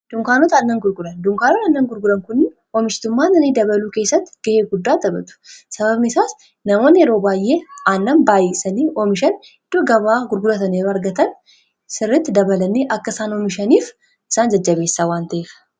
dunkaanotaannan gurguran dunkaanota annan gurguran kunn oomishitummaa nanii dabaluu keessatti ga'ee guddaa tabatu sababni isaas namoon yeroo baay'ee aannan baayyesanii oomishan idhoo gabaa gurguratanii argatan sirritti dabalanii akka isaan oomishaniif isaan jajjabeessa wanta'eka